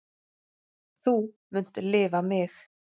Þú munt lifa mig.